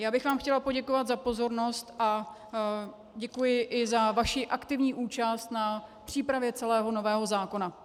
Já bych vám chtěla poděkovat za pozornost a děkuji i za vaši aktivní účast na přípravě celého nového zákona.